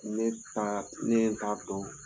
Ne ta, ne ye n ta dɔn